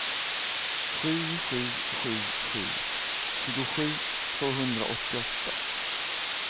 sju sju sju sju tjugosju tvåhundraåttioåtta